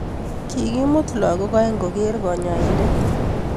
Kikimut lagok oeng koger daktarinte.